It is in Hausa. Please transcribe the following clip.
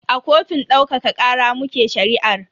A kotun daukaka kara muke shari'ar.